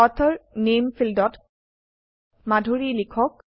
author নামে ফীল্ডত মাধুৰী লিখক